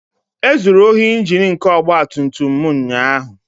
. E zuru ohi Injin nke ọgba tum tum m ụnyaahụ